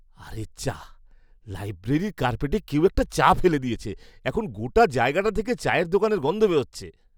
আরে যা! লাইব্রেরি কার্পেটে কেউ একটা চা ফেলে দিয়েছে। এখন গোটা জায়গাটা থেকে চায়ের দোকানের গন্ধ বেরোচ্ছে।